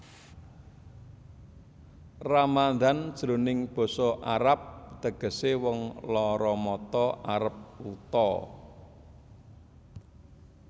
Ramadan jroning basa arab tegesé wong lara mata arep wuta